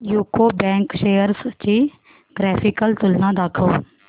UCO bank shares ची graphical तुलना दाखव